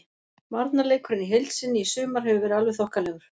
Varnarleikurinn í heild sinni í sumar hefur verið alveg þokkalegur.